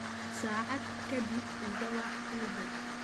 saacad ka dib iga wac uber